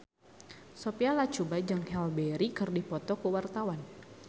Sophia Latjuba jeung Halle Berry keur dipoto ku wartawan